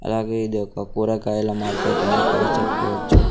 అలాగే ఇది ఒక కూరగాయల మార్కెట్ అని కూడా చెప్పవచ్చు.